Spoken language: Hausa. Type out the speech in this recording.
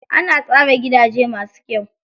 Ana tsara gidaje masu kyau.